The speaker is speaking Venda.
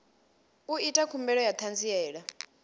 u ita khumbelo ya ṱhanziela